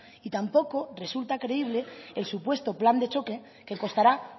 y tampoco resulta creíble el supuesto plan de choque que costará